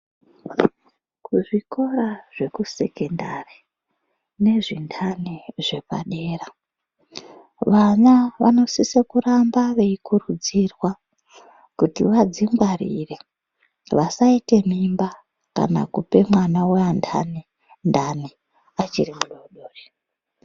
Kuzvikora zvekusekondari, nezvindani zvepadera vana vanosisa kukurudzirwa kuti vadzingwarire, vasaite mimba kana kupe ana weandani ndani achiri mudori dori.